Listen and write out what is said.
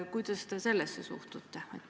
Kuidas te sellesse suhtute?